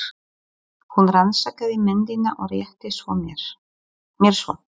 Hún rannsakaði myndina og rétti mér svo.